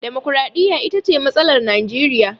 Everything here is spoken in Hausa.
Damakwaraɗiyya ita ce matsalar Najeriya.